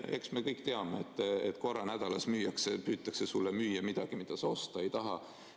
Eks me kõik teame, et korra nädalas müüakse või püütakse sulle müüa midagi, mida sa osta ei taha.